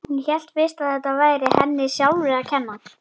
Hún hélt fyrst að þetta væri henni sjálfri að kenna.